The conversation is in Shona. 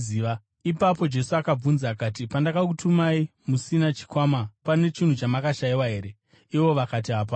Ipapo Jesu akabvunza akati, “Pandakakutumai musina chikwama, hombodo kana shangu pane chinhu chamakashayiwa here?” Ivo vakati, “Hapana.”